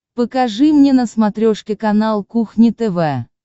покажи мне на смотрешке канал кухня тв